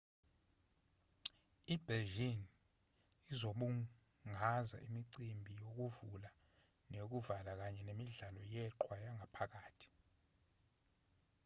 i-beijing izobungaza imicimbi yokuvula neyokuvala kanye nemidlalo yeqhwa yangaphakathi